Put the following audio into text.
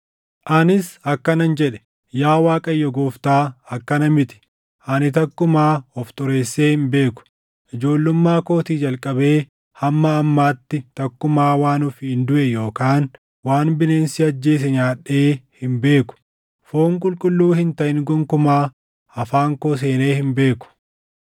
Anis akkanan jedhe; “Yaa Waaqayyo Gooftaa akkana miti! Ani takkumaa of xureessee hin beeku. Ijoollummaa kootii jalqabee hamma ammaatti takkumaa waan ofiin duʼe yookaan waan bineensi ajjeese nyaadhee hin beeku. Foon qulqulluu hin taʼin gonkumaa afaan koo seenee hin beeku.”